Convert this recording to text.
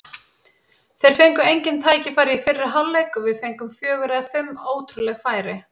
Þeir fengu engin tækifæri í fyrri hálfleik og við fengum fjögur eða fimm ótrúleg færi.